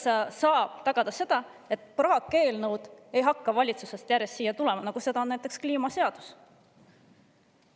Kuidas saab tema tagada, et valitsusest ei hakka järjest tulema siia praakeelnõusid, nagu on kliimaseadus?